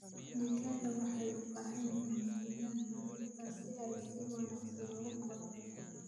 Digaagga waxay u baahan yihiin deegaan nadiif ah si ay si wanaagsan ugu koraan.